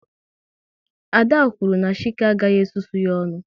Ada kwuru na Chike agaghị e susu ya ọnụ